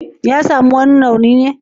Ya sami wani rauni ne?